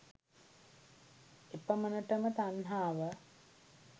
එපමණටම තන්හාව